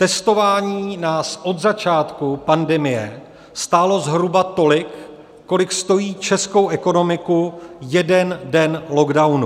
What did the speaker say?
Testování nás od začátku pandemie stálo zhruba tolik, kolik stojí českou ekonomiku jeden den lockdownu.